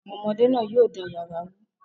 Àwọn ọmọdé náà yóò dá yàrá rú.